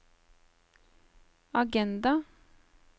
agenda